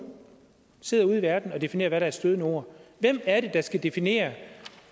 sidder ude i verden og definerer hvad der er et stødende ord hvem er det der skal definere